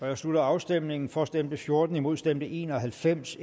jeg slutter afstemningen for stemte fjorten imod stemte en og halvfems